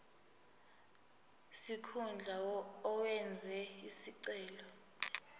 sikhundla owenze isicelo